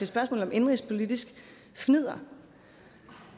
spørgsmål om indenrigspolitisk fnidder